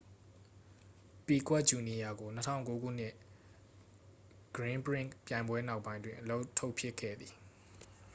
ပီကွက်ဂျူနီယာကို 2009 ခုနှစ် ဂရင်းပရင့်ခ် ပြိုင်ပွဲနောက်ပိုင်းတွင် အလုပ်ထုတ်ပစ်ခဲ့သည်